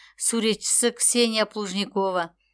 суретшісі ксения плужникова